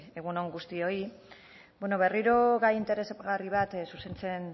egun on guztioi bueno berriro gai interesgarri bat zuzentzen